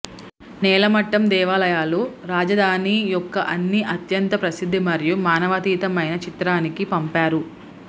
నేలమట్టం దేవాలయాలు రాజధాని యొక్క అన్ని అత్యంత ప్రసిద్ధ మరియు మానవాతీతమైన చిత్రానికి పంపారు